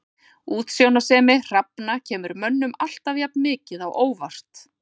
Útsjónarsemi hrafna kemur mönnum alltaf jafn mikið á óvart.